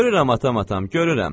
Görürəm atam atam, görürəm.